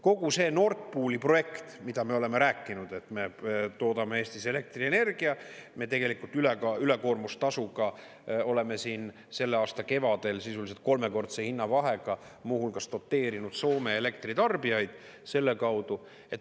Kogu see Nord Pooli projekt, mida me oleme rääkinud, et me toodame Eestis elektrienergia, me tegelikult ülekoormustasuga oleme siin selle aasta kevadel sisuliselt kolmekordse hinnavahega muu hulgas doteerinud Soome elektritarbijaid selle kaudu.